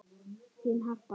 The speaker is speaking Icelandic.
Þín, Harpa.